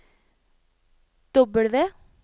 W